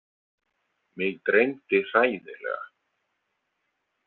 Mig dreymdi hræðilega.